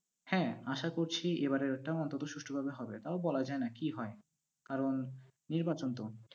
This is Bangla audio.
হ্যাঁ, আশা করছি এবারেরটা অন্তত সুষ্ঠভাবে হবে, তাও বলা যায় না কি হয়, কারণ নির্বাচন তো।